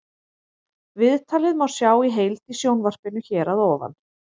Viðtalið má sjá í heild í sjónvarpinu hér að ofan.